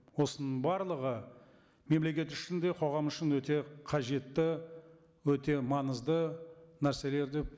осының барлығы мемлекет үшін де қоғам үшін өте қажетті өте маңызды нәрселер деп